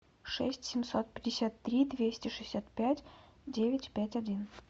шесть семьсот пятьдесят три двести шестьдесят пять девять пять один